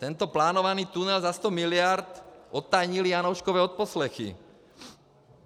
Tento plánovaný tunel za 100 miliard odtajnily Janouškovy odposlechy.